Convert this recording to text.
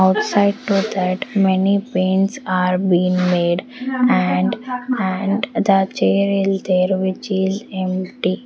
upside to that many are been made and and the which is empty.